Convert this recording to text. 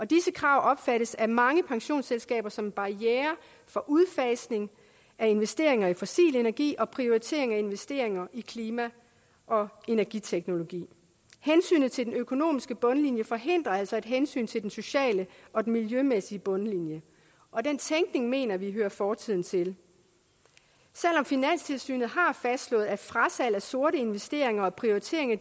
disse krav opfattes af mange pensionsselskaber som en barriere for udfasning af investeringer i fossil energi og prioritering af og investeringer i klima og energiteknologi hensynet til den økonomiske bundlinje forhindrer altså at hensyn til den sociale og miljømæssige bundlinje og den tænkning mener vi hører fortiden til selv om finanstilsynet har fastslået at frasalg af sorte investeringer og prioritering af